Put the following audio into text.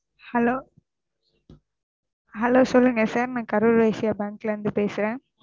Hello Hello சொல்லுங்க sir நான் கரூர் வைஸ்யா பேங்க்ல இருந்து பேசுறேன்.